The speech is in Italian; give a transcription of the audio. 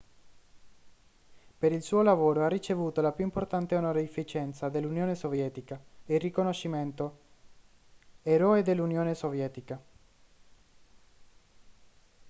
per il suo lavoro ha ricevuto la più importante onorificenza dell'unione sovietica il riconoscimento eroe dell'unione sovietica